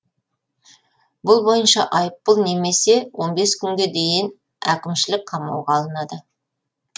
бұл бойынша айыппұл немесе он бес күнге дейін әкімшілік қамауға алынады